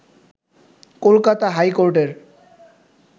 কলকাতা হাইকোর্টের